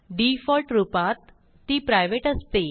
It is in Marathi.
डिफॉल्ट रूपात ती प्रायव्हेट असते